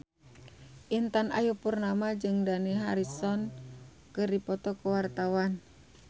Intan Ayu Purnama jeung Dani Harrison keur dipoto ku wartawan